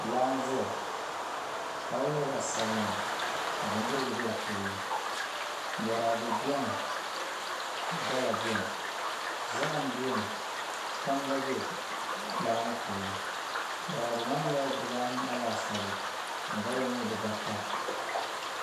Laa n ʒɛya laa ŋo nyɛla zaɣ sabinli ka bindirigu bɛ di puuni boraadɛ bɛni ka gala bɛni zaham bɛni kpam gba bɛ laa ŋo puuni boraadɛ maa nyɛla dibaanahi laasabu ka gala ŋo nyɛ dibaata